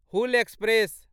Hul express